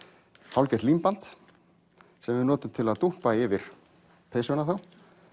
hálfgert límband sem við notum til að yfir peysuna þá